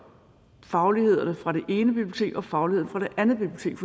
fagligheden fra det ene bibliotek og fagligheden fra det andet bibliotek